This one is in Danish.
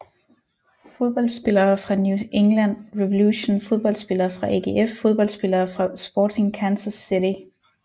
Fodboldspillere fra New England Revolution Fodboldspillere fra AGF Fodboldspillere fra Sporting Kansas City